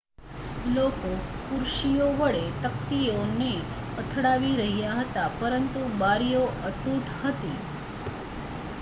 લોકો ખુરશીઓ વડે તકતીઓ ને અથડાવી રહ્યા હતા પરંતુ બારીઓ અતૂટ હતી